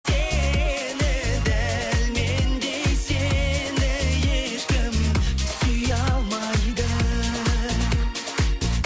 сені дәл мендей сені ешкім сүйе алмайды